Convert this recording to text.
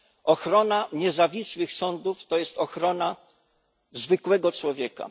Ochrona niezawisłych sądów to jest ochrona zwykłego człowieka.